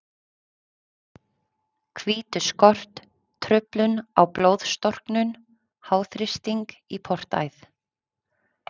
hvítuskort, truflun á blóðstorknun, háþrýsting í portæð.